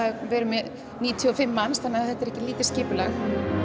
við erum með níutíu og fimm manns þannig að þetta er ekki lítið skipulag